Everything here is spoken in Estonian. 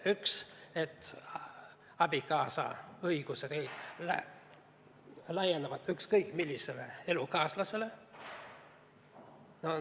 Üks, et abikaasa õigused laienevad ükskõik millisele elukaaslasele.